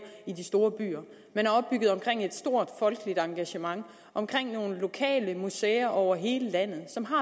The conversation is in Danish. i de store byer men er opbygget omkring et stort folkeligt engagement omkring nogle lokale museer over hele landet som har